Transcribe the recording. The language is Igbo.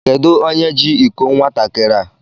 Kedụ onye jị ịkọ nwatakịrị a?